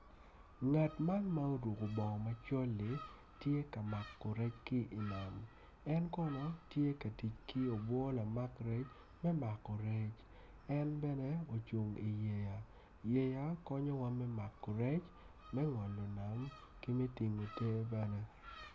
Ngat man ma oruko bongo macol li tuk kun winyo man opito tyene aryo odwoko angec winyo man oyaro bome kun tye ka tuk dogwinyo man tye ma yelo me ngolo nam ki me tingo ter bene.